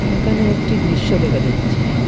এখানে একটি দৃশ্য দেখা যাচ্ছে এ--